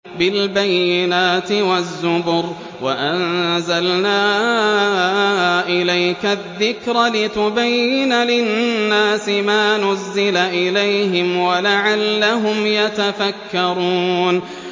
بِالْبَيِّنَاتِ وَالزُّبُرِ ۗ وَأَنزَلْنَا إِلَيْكَ الذِّكْرَ لِتُبَيِّنَ لِلنَّاسِ مَا نُزِّلَ إِلَيْهِمْ وَلَعَلَّهُمْ يَتَفَكَّرُونَ